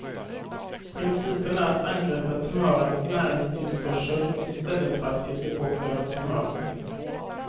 Principen är att angripa tumörens näringstillförsel i stället för att ge sig på själva tumören.